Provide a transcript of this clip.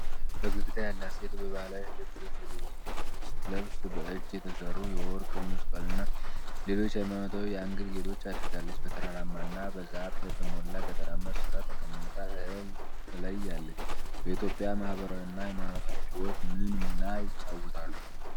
ፈገግታ ያላት ሴት በባህላዊ ልብስ ስትለብስ በእጅ የተሰሩ የወርቅ መስቀልና ሌሎች ሃይማኖታዊ የአንገት ጌጦች አድርጋለች። በተራራማ እና በዛፍ በተሞላ ገጠራማ ስፍራ ተቀምጣ እህል ትለያለች። በኢትዮጵያ ማህበራዊና ሃይማኖታዊ ህይወት ምን ሚና ይጫወታሉ?